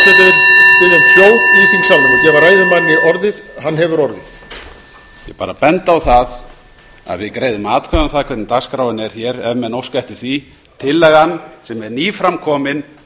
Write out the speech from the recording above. málefnalegri en þetta ég vil bera benda á að við greiðum atkvæði um það hvernig dagskráin er hér ef menn óska eftir því tillagan sem er nýframkomin